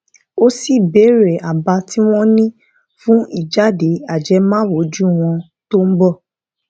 ó sì bèèrè àbá tí wón ní fún ìjáde ajẹmáwùjọ wọn tó ń bọ